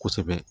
Kosɛbɛ